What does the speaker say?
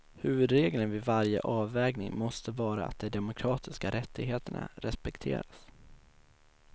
Huvudregeln vid varje avvägning måste vara att de demokratiska rättigheterna respekteras.